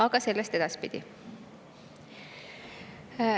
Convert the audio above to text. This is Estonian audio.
Aga sellest edaspidi.